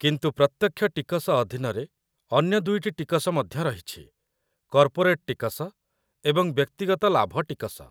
କିନ୍ତୁ ପ୍ରତ୍ୟକ୍ଷ ଟିକସ ଅଧୀନରେ ଅନ୍ୟ ଦୁଇଟି ଟିକସ ମଧ୍ୟ ରହିଛି କର୍ପୋରେଟ୍‌ ଟିକସ ଏବଂ ବ୍ୟକ୍ତିଗତ ଲାଭ ଟିକସ